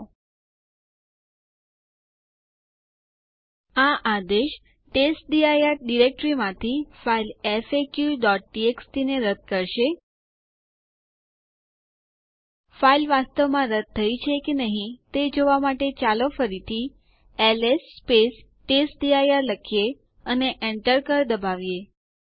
જો આપણે બધા વર્તમાન યુઝરો ની ગ્રુપ ઇડ જોવી હોય તો ટાઈપ કરો ઇડ સ્પેસ જી અને Enter ડબાઓ